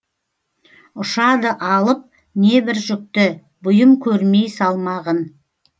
ұшады алып небір жүкті бұйым көрмей салмағын